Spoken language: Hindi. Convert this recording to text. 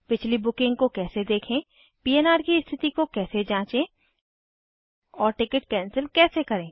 पिछली बुकिंग को कैसे देखें पन्र की स्थिति को कैसे जाँचें और टिकट कैंसिल कैसे करें